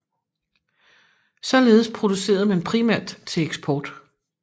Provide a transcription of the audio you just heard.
Således producerede man primært til eksport